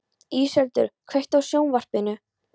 Íseldur, kveiktu á sjónvarpinu.